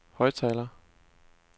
højttaler